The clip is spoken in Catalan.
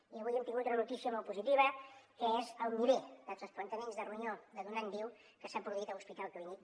i avui hem tingut una notícia molt positiva que és el nivell de trasplantaments de ronyó de donant viu que s’ha produït a l’hospital clínic